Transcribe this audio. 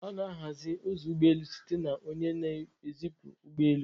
A na-ahazi ụzọ ụgbọ elu site na onye na-ezipụ ụgbọ elu